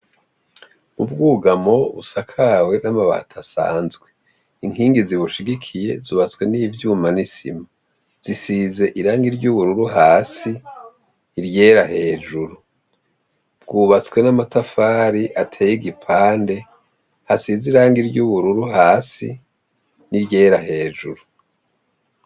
Ubwugamo busakawe namabati asanzwe inkingi ziwushigikiye zubatswe nivyuma nisima zisize irangi ryubururu hasi iryera hejuru bwubatswe namatafari ateye igipande asize ryubururu hasi niryera hejuru